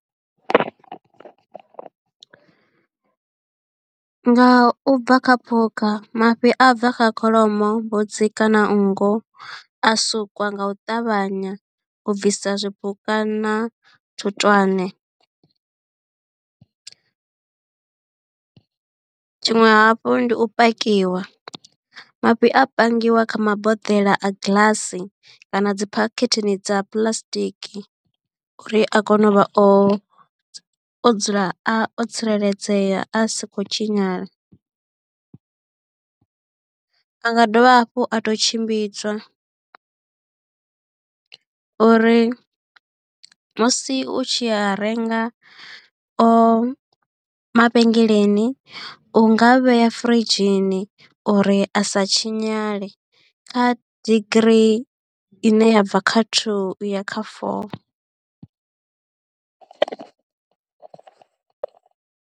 Nga u bva kha phukha mafhi a bva kha kholomo, mbudzi kana nngu a sukwa nga u ṱavhanya u bvisa zwipuka na thutwane. Tshiṅwe hafhu ndi u pakiwa mafhi a pangiwa kha maboḓelo a giḽasi kana dzi phakhetheni dza puḽasitiki uri a kone u vha o o dzula a o tsireledzea a si khou tshinyala. A nga dovha hafhu a to tshimbidzwa uri musi u tshi a renga mavhengeleni u nga vhea furidzhini uri a sa tshinyale kha degree i ne ya bva kha thuu u ya kha foo.